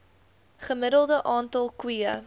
gemiddelde aantal koeie